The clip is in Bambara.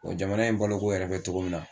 Wa jamana in boloko yɛrɛ bɛ cogo min na